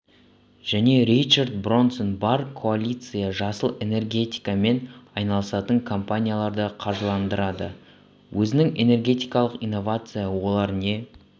және ричард бронсон бар коалиция жасыл энергиямен айналысатын компанияларды қаржыландырады өзінің энергетикалық инновация олар не